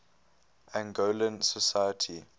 angolan society